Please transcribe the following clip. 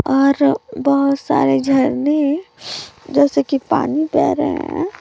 और बहोत सारे झरने जैसे की पानी बह रहे हैं।